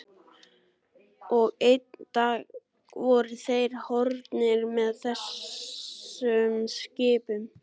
Og einn dag voru þeir horfnir með þessum skipum.